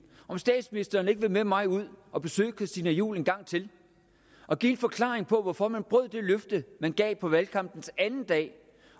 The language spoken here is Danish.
om statsministeren ikke vil med mig ud at besøge christina juhl en gang til og give en forklaring på hvorfor man brød det løfte man gav på valgkampens anden dag